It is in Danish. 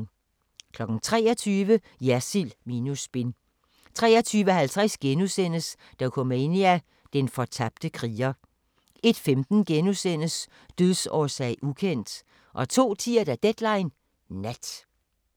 23:00: Jersild minus spin 23:50: Dokumania: Den fortabte kriger * 01:15: Dødsårsag: ukendt * 02:10: Deadline Nat